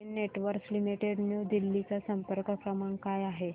Den Networks Limited New दिल्ली चा संपर्क क्रमांक काय आहे